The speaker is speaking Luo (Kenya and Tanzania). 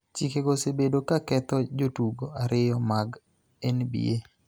Chikego osebedo ka ketho jotugo ariyo mag NBA �